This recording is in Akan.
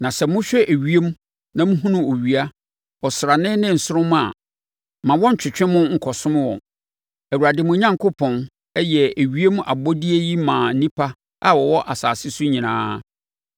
Na sɛ mohwɛ ewiem na mohunu owia, ɔsrane ne nsoromma a, mma wɔnntwetwe mo nkɔsom wɔn. Awurade, mo Onyankopɔn, yɛɛ saa ewiem abɔdeɛ yi maa nnipa a wɔwɔ asase so nyinaa.